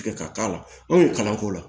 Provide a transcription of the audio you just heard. Tigɛ ka k'a la anw ye kalan k'o la